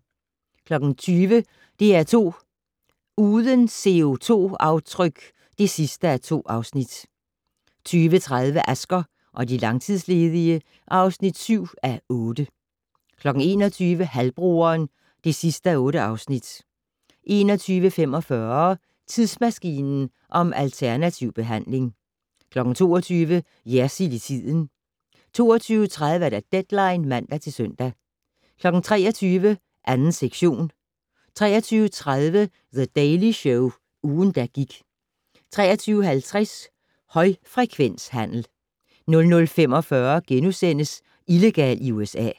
20:00: DR2 Uden CO2-aftryk (2:2) 20:30: Asger og de langtidsledige (7:8) 21:00: Halvbroderen (8:8) 21:45: Tidsmaskinen om alternativ behandling 22:00: Jersild i tiden 22:30: Deadline (man-søn) 23:00: 2. sektion 23:30: The Daily Show - ugen, der gik 23:50: Højfrekvenshandel 00:45: Illegal i USA *